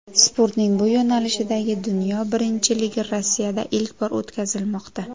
Sportning bu yo‘nalishidagi dunyo birinchiligi Rossiyada ilk bor o‘tkazilmoqda.